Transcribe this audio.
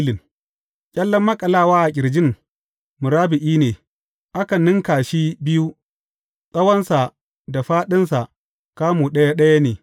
Ƙyallen maƙalawa a ƙirjin murabba’i ne, aka ninka shi biyu, tsawonsa da fāɗinsa kamu ɗaya ɗaya ne.